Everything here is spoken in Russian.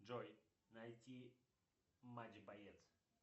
джой найти матч боец